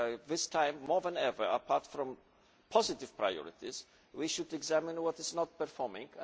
This time more than ever, in addition to positive priorities, we should examine what is not performing.